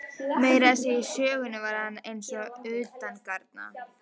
Meira að segja í sögunni var hann eins og utangarna.